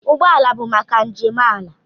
Ụgbọ ala bụ maka njem ala.